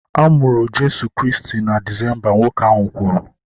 A mụrụ Jeso Kraịst na Disemba, nwoke ahụ kwuru